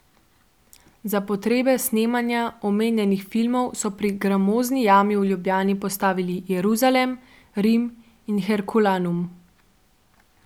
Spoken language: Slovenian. Za potrebe snemanja omenjenih filmov so pri Gramozni jami v Ljubljani postavil Jeruzalem, Rim in Herkulanum.